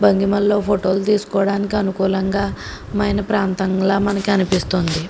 భంగిమల్లో ఫోటోలు తీసుకోవడానికి అనుకూలంగా మన ప్రాంతంలో మనకి అనిపిస్తోంది.